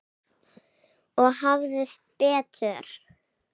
Og hafði betur.